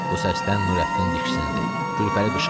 Bu səsdən Nurəddin diksindi, Gülpəri qışqırdı.